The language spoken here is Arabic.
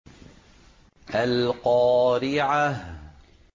الْقَارِعَةُ